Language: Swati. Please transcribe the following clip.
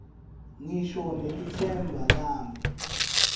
ngisho nelitsemba lami